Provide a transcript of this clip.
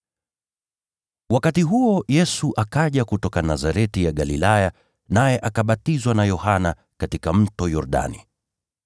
Wakati huo Yesu akaja kutoka Nazareti ya Galilaya, naye akabatizwa na Yohana katika Mto Yordani.